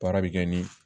Baara bɛ kɛ ni